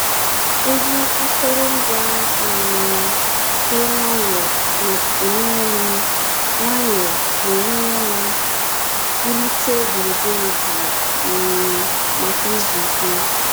Egwu akụrụngwa um dị nwayọọ na-enyere m nwayọọ na-enyere m wulite gburugburu jụụ um maka izu ike.